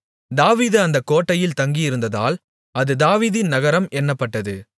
தாவீது அந்தக் கோட்டையில் தங்கியிருந்ததால் அது தாவீதின் நகரம் என்னப்பட்டது